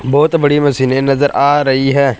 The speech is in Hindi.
बहोत बड़ी मशीनें नजर आ रही है।